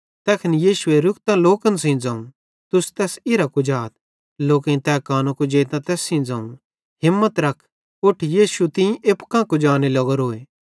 तैखन यीशुए रुकतां लोकन सेइं ज़ोवं तुस तैस इरां कुजाथ लोकेईं तै कानो कुजेइतां तैस सेइं ज़ोवं हिम्मत रख उठ यीशु तीं एप्पू कां कुजाने लग्गोरेन